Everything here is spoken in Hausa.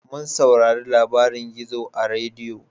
Mun saurari labarin gizo a rediyo